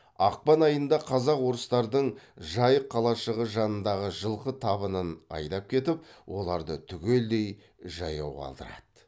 ақпан айында қазақ орыстардың жайық қалашығы жанындағы жылқы табынын айдап кетіп оларды түгелдей жаяу қалдырады